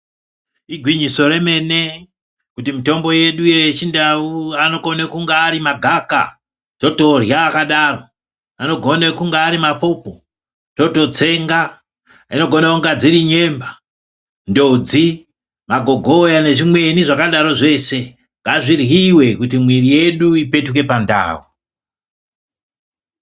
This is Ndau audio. Igwinyiso remene kuti mitombo yedu yechindau anokone kunge ari magaka totorya akadaro ,anogone kunge ari mapopo tototsenga, dzinogone kunge dziri nyemba ,ndodzi, magogoya nezvimweni zvakadaro zveshe ngazviryiwe kuti mwiri yedu ipetuke pandau.